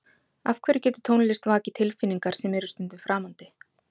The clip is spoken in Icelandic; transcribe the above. af hverju getur tónlist vakið tilfinningar sem eru stundum framandi